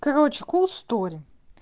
короче кул стори